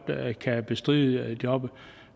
kan bestride jobbet